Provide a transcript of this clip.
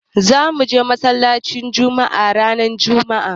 Za mu je masallacin Jumma'a ranar jumma'a.